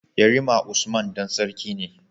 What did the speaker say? Yarima usman Dan sarki ne